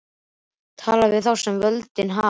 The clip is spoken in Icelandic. Tala við þá sem völdin hafa.